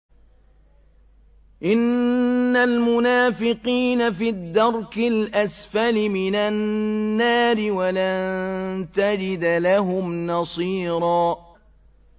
إِنَّ الْمُنَافِقِينَ فِي الدَّرْكِ الْأَسْفَلِ مِنَ النَّارِ وَلَن تَجِدَ لَهُمْ نَصِيرًا